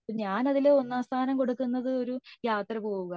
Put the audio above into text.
ഞാൻ അതിൽ ഒന്നാം സ്ഥാനം കൊടുക്കുന്നത് ഒരു യാത്ര പോവാ